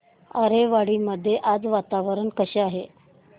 आरेवाडी मध्ये आज वातावरण कसे आहे